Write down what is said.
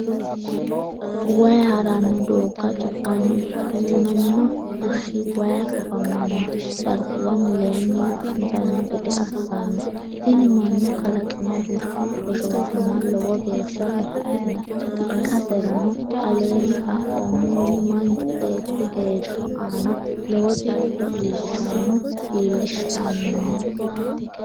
wayi ha’ranno doogga cufanno Duunamino bushshi wayi kofamanno darguwa mulenni wo’mitanno gede assanno Tini mannu kalaqino bushshu hoshooshama lowo geeshsha batidhino- ikkaserano aleenni xaphoomunni Manchu beetti heeshsho aana lawo jaddo iillishshanno iillishshannino.